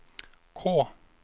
K